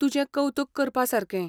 तुजें कवतुक करपा सारकें.